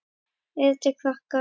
Eða til krakka?